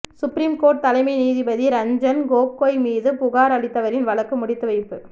supreme court தலைமை நீதிபதி ரஞ்சன் கோகோய் மீது புகார் அளித்தவரின் வழக்கு முடித்துவைப்பு